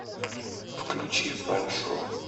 включи фэншу